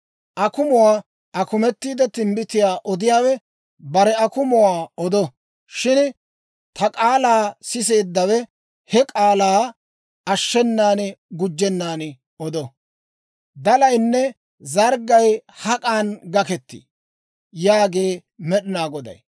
Akumuwaa akumettiide timbbitiyaa odiyaawe bare akumuwaa odo. Shin ta k'aalaa siseeddawe he k'aalaa ashshenan gujjennan odo. Dalaynne zarggay hak'an gakketii? yaagee Med'inaa Goday.